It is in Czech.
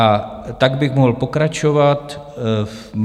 A tak bych mohl pokračovat.